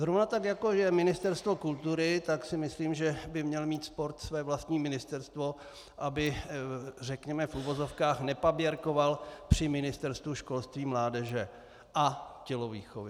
Zrovna tak, jako je Ministerstvo kultury, tak si myslím, že by měl mít sport své vlastní ministerstvo, aby řekněme v uvozovkách nepaběrkoval při Ministerstvu školství, mládeže a tělovýchovy.